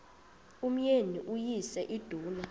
umyeni uyise iduna